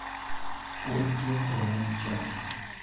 ольге романченко